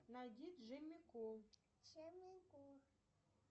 найди джимми колд